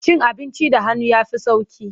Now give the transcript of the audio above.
Cin abinci da hannu ya fi sauƙi.